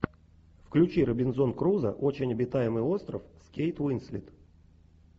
включи робинзон крузо очень обитаемый остров с кейт уинслет